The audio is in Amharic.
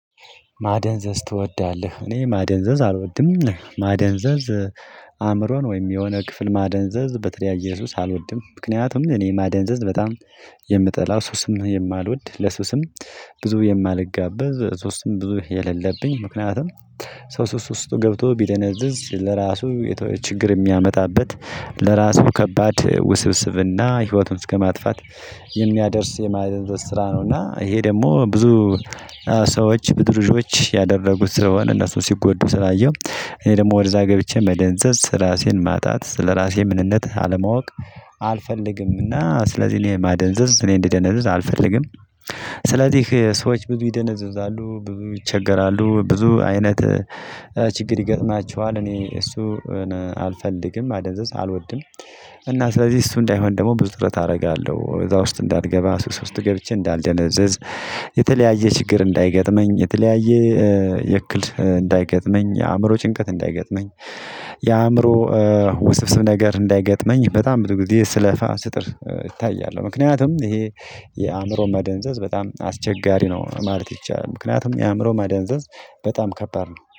ማደንዘዝ ትወዳለህ? እኔ ማደንዘዝ አልወድም ማደንዘዝ። አእምሮን ወይም የሆነ ክፍል ማደንዘዝ በተለያየ ሱስ አልወድም ምክንያቱም እኔ ማደንዘዝ በጣም የምጠላው ሱስም የማልወድ ለሱስም ብዙ የማልጋበዝ ሱስም ብዙ የሌለብኝ ምክንያቱም ሰው ሱስ ውስጥ ገብቶ ቢደነዝዝ ለራሱ ችግር የሚያመጣበት ለራሱ ከባድ ውስብስብና ህይወቱን እስከማጥፋት የሚያደርስ የማደንዘዝ ስራ ነው። እና ይሄ ደግሞ ብዙ ሰዎች ብዙ ልጆች ያደረጉት ስለሆነ እነሱን ሲጎዱ ስላየሁ እኔ ደግሞ ወደዛ ገብቼ መደንዘዝ ስራሴን ማጣት ስለራሴ ምንነት አለማወቅ አልፈልግምና ስለዚህ እኔ ማደንዘዝ እኔ እንድደነዝዝ አልፈልግም። ስለዚህ ሰዎች ብዙ ይደነዝዛሉ ብዙ ይቸገራሉ ብዙ አይነት ችግር ይገጥማቸዋል እኔ እሱ አልፈልግም ማደንዘዝ አልወድም። እና ስለዚህ እሱ እንዳይሆን ደግሞ ብዙ ጥረት አደርጋለሁ እዛ ውስጥ እንዳልገባ ሱስ ውስጥ ገብቼ እንዳልደነዝዝ። የተለያየ ችግር እንዳይገጥመኝ የተለያየ የክል እንዳይገጥመኝ የአእምሮ ጭንቀት እንዳይገጥመኝ። የአእምሮ ውስብስብ ነገር እንዳይገጥመኝ በጣም ብዙ ጊዜ ስለፋ ስጥር እታያለሁ ምክንያቱም ይሄ የአእምሮ መደንዘዝ በጣም አስቸጋሪ ነው ማለት ይቻላል። ምክንያቱም የአእምሮ ማደንዘዝ በጣም ከባድ ነው